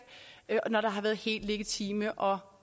når der har været helt legitime og